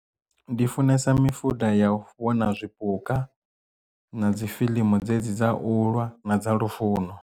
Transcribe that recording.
Ndi funesa mifuda ya u vhona zwipuka na dzifilimu dzedzi dza ulwa na dza lufuno.